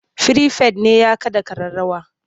Firifet ne ya kaɗa ƙararrawa.